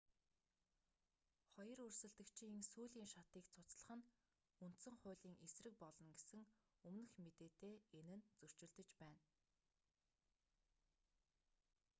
хоёр өрсөлдөгчийн сүүлийн шатыг цуцлах нь үндсэн хуулийн эсрэг болно гэсэн өмнөх мэдээтэй энэ нь зөрчилдөж байна